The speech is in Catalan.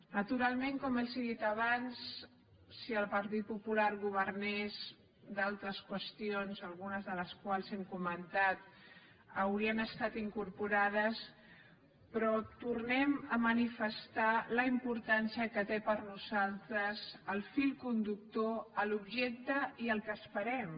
naturalment com els he dit abans si el partit popular governés d’altres qüestions algunes de les quals hem comentat haurien estat incorporades però tornem a manifestar la importància que té per nosaltres el fil conductor l’objecte i el que esperem